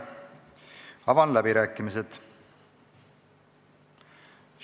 Avan läbirääkimised.